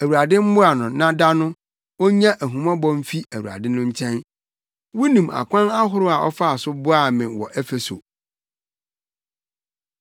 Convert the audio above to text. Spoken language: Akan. Awurade mmoa no na da no, onya ahummɔbɔ mfi Awurade no nkyɛn! Wunim akwan ahorow a ɔfaa so boaa me wɔ Efeso.